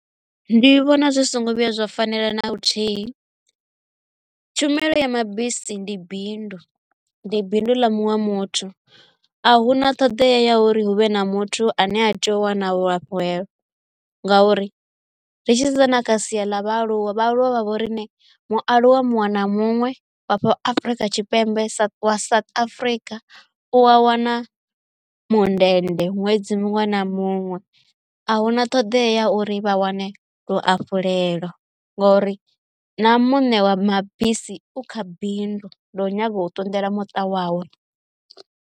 Ndi vhona zwi songo vhuya zwa fanela na luthihi tshumelo ya mabisi ndi bindu ndi bindu ḽa muṅwe muthu a huna ṱhoḓea ya uri hu vhe na muthu ane a tea u wana luafhulelo ngauri ri tshi sedza na kha sia ḽa vhaaluwa, vhaaluwa vha vho rine mualuwa muṅwe afha afrika tshipembe sa South Africa u a wana mundende ṅwedzi muṅwe na muṅwe a huna ṱhoḓea uri vha wane luafhulelo ngori na muṋe wa mabisi u kha bindu ḽo nyaga u ṱunḓela muṱa wawe.